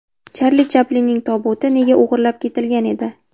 Charli Chaplinning tobuti nega o‘g‘irlab ketilgan edi?.